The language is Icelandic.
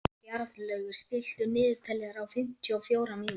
Bjarnlaugur, stilltu niðurteljara á fimmtíu og fjórar mínútur.